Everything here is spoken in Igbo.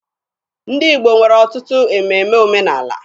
Ndị Igbo nwere ọtụtụ ememe omenaala.